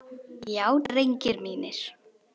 Já drengir mínir.